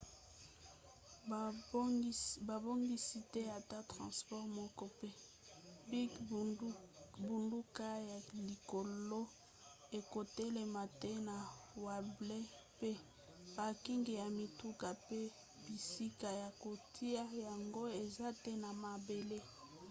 babongisi te ata transport moko mpe bingbunduka ya likolo ekotelama te na wembley mpe parking ya mituka mpe bisika ya kotia yango eza te na mabele